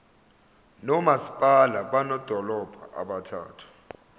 nomasipala bamadolobha abathathu